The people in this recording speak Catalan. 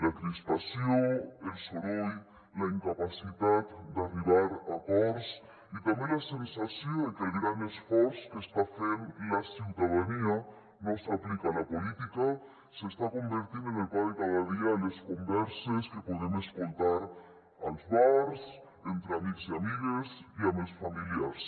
la crispació el soroll la incapacitat d’arribar a acords i també la sensació de que el gran esforç que està fent la ciutadania no s’aplica a la política s’està convertint en el pa de cada dia a les converses que podem escoltar als bars entre amics i amigues i amb els familiars